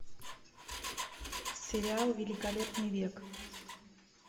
сериал великолепный век